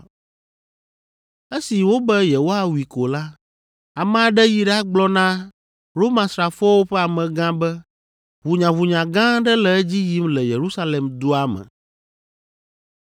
Esi wobe yewoawui ko la, ame aɖe yi ɖagblɔ na Romasrafowo ƒe amegã be ʋunyaʋunya gã aɖe le edzi yim le Yerusalem dua me.